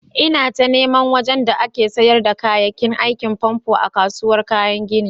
lna ta niman wajen da ake sayar da kayakin aikin famfo a'kasuwan kayan ginin.